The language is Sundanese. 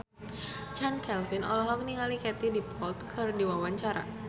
Chand Kelvin olohok ningali Katie Dippold keur diwawancara